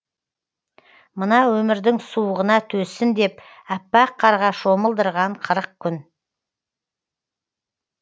мына өмірдің суығына төзсін деп аппақ қарға шомылдырған қырық күн